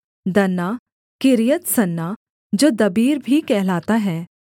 दन्ना किर्यत्सन्ना जो दबीर भी कहलाता है